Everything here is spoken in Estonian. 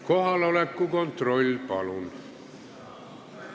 Kohaloleku kontroll, palun!